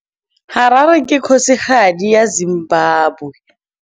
Harare ke kgosigadi ya Zimbabwe.